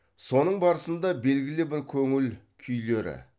соның барысында белгілі бір көңіл күйлері